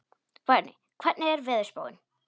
Berni, hvernig er veðurspáin?